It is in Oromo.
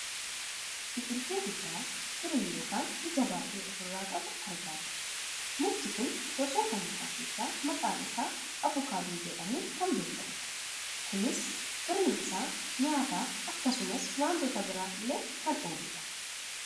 Biqiltuu guddaa firii yookaan ija baayyee of irraa qabu argaa jirra. Mukti kun gosoota mukaa keessaa maqaan isaa avukaadoo jedhamuun kan beekkamudha. Kunis firiin isaa nyaataaf akkasumas wantoota biraaf illee kan ooludha.